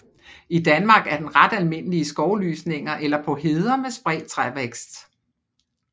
I Danmark er den ret almindelig i skovlysninger eller på heder med spredt trævækst